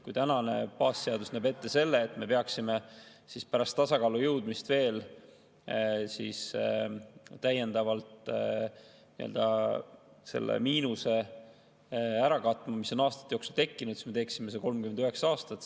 Kui tänane baasseadus näeb ette selle, et me peaksime pärast tasakaalu jõudmist veel täiendavalt selle miinuse, mis on aastate jooksul tekkinud, ära katma, siis me teeksime seda 39 aastat.